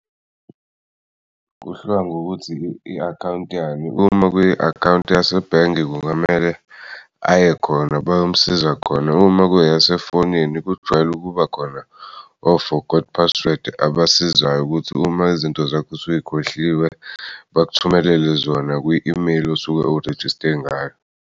Kuhluka ngokuthi i-account yani uma kwi-account yasebhange kungamele aye khona bayomsiza khona. Uma kuyasefonini kujwayele ukuba khona o-forgot password abasizayo ukuthi uma izinto zakho usuyikhohliwe, bakuthumelele zona kwi-email osuke urejiste ngayo.